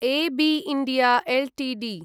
A B India Ltd